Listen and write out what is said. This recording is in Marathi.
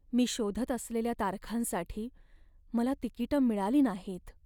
मी शोधत असलेल्या तारखांसाठी मला तिकिटं मिळाली नाहीत.